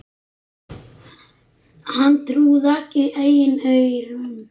Hann trúði ekki eigin eyrum.